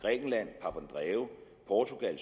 portugal